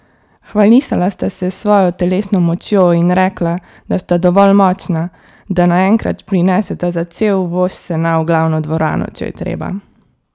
Hvalisala sta se s svojo telesno močjo in rekla, da sta dovolj močna, da naenkrat prineseta za cel voz sena v glavno dvorano, če je treba.